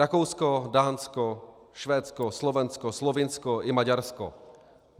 Rakousko, Dánsko, Švédsko, Slovensko, Slovinsko i Maďarsko.